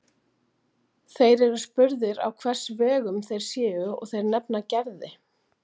Þeir eru spurðir á hvers vegum þeir séu og þeir nefna Gerði.